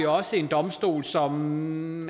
også en domstol som